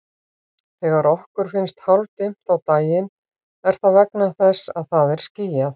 Þegar okkur finnst hálfdimmt á daginn er það vegna þess að það er skýjað.